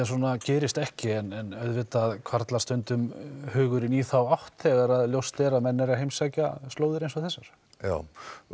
svona gerist ekki en auðvitað hvarflar stundum hugurinn í þá átt þegar að ljóst er að menn eru að heimsækja slóðir eins og þessar já